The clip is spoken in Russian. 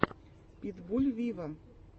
питбуль виво